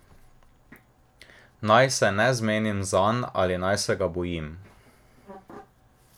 Naj se ne zmenim zanj ali naj se ga bojim?